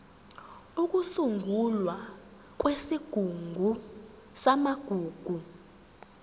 ukusungulwa kwesigungu samagugu